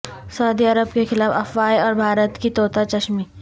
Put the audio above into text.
سعودی عرب کے خلاف افواہیں اور بھارت کی طوطا چشمی